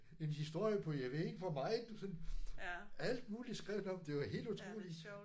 En historie på jeg ved ikke hvor meget sådan. Alt muligt skrev den om det var helt utroligt